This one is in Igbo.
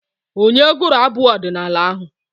Onye gụrụ abụ ọdịnaala ahụ?